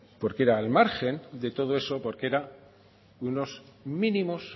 porque era al margen de todo eso porque era unos mínimos